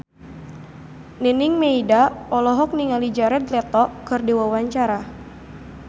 Nining Meida olohok ningali Jared Leto keur diwawancara